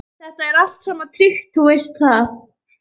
Þetta er allt saman tryggt, þú veist það.